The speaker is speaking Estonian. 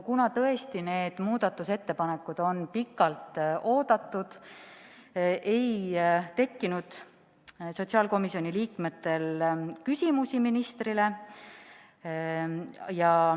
Kuna need muudatusettepanekud on tõesti pikalt oodatud, siis ei tekkinud sotsiaalkomisjoni liikmetel küsimusi.